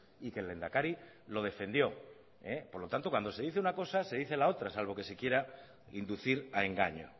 y que el lehendakari lo defendió por lo tanto cuando se dice una cosa se dice la otra salvo que se quiera inducir a engaño